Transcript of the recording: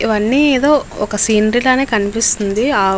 ఇవి అన్ని ఏదో ఒక సీనరీ లానే కనిపిస్తున్నది ఆవ్ --